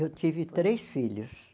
Eu tive três filhos.